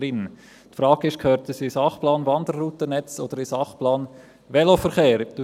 Die Frage ist, ob es in den Sachplan Wanderroutennetz oder in den Sachplan Veloverkehr gehört.